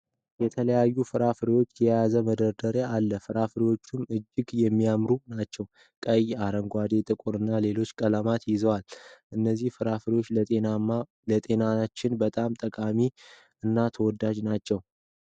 የተለያዩ ፍራፍሬዎችን የያዘ መደርደሪያ አለ። ፍራፍሬዎችም እጅግ የሚያምሩ ናቸው። ቀይ፣ አረንጓዴ ፣ጥቁር እና ሌሎችንም ቀለማቶች ይዘዋል። እነዚህ ፍራፍሬዎች ለጤናችን በጣም ጠቃሚ እና ተወዳጅ ናቸው።